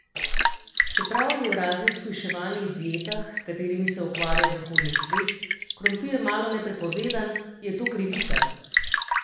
Čeprav je v raznih shujševalnih dietah, s katerimi se ukvarja zahodni svet, krompir malone prepovedan, je to krivica.